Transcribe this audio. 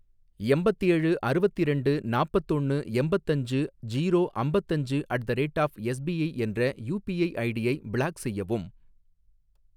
எம்பத்தேழு அறுவத்திரெண்டு நாப்பத்தொன்னு எம்பத்தஞ்சு ஜீரோ அம்பத்தஞ்சு at the rate of SBI என்ற யுபிஐ ஐடியை பிளாக் செய்யவும்.